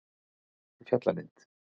Fjallalind